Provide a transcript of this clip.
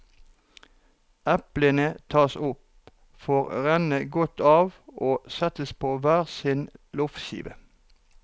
Eplene tas opp, får renne godt av, og settes på hver sin loffskive.